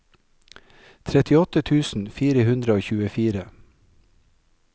trettiåtte tusen fire hundre og tjuefire